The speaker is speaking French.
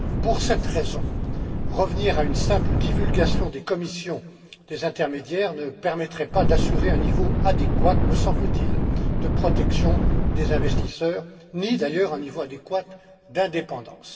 Pour cette raison, revenir à une simple divulgation des commissions des intermédiaires ne permettrait pas d'assurer un niveau adéquat, me semble t il, de protection des investisseurs ni d'ailleurs un niveau adéquat d'indépendance.